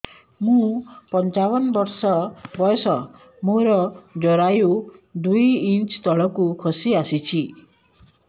ମୁଁ ପଞ୍ଚାବନ ବର୍ଷ ବୟସ ମୋର ଜରାୟୁ ଦୁଇ ଇଞ୍ଚ ତଳକୁ ଖସି ଆସିଛି